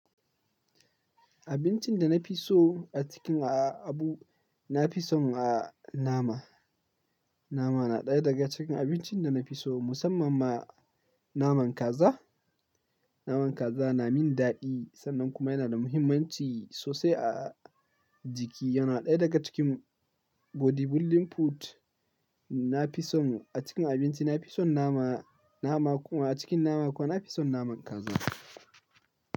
Abincin da na fi so a cikin abu, na fi son, ah, nama. Nama na ɗaya daga cikin abincin da na fi so musamman ma naman kaza. Naman kaza na min daɗi sannan kuma yana da muhimmanci sosai a jiki. Yana ɗaya daga cikin bodybuilding food. Na fi son a cikin abinci na fi son nama, nama kuma a cikin nama kuwa na fi son naman kaza.